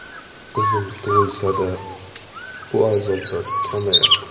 Qizim tug‘ilsa-da, bu azoblar kamaymadi.